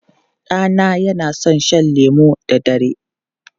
Ɗana yana son shan lemu da dare.